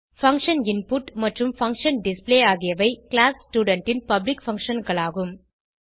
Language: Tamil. பங்ஷன் இன்புட் மற்றும் பங்ஷன் டிஸ்ப்ளே ஆகியவை கிளாஸ் ஸ்டூடென்ட் ன் பப்ளிக் functionகளாகும்